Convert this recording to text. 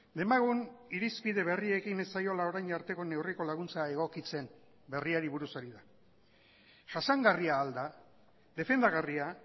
demagun irizpide berriekin ez zaiola orain arteko neurriko laguntza egokitzen berriari buruz ari da jasangarria al da defendagarria